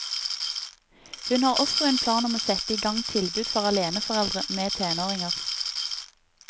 Hun har også en plan om å sette i gang tilbud for aleneforeldre med tenåringer.